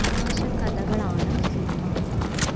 തമാശക്കഥകളാണ് cinema